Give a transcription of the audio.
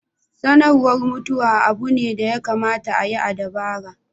Sanarwa mutuwa abu ne da ya kamata a yi da dabara.